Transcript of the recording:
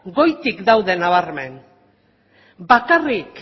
goitik daude nabarmen bakarrik